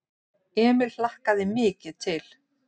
Emil hlakkaði mikið til.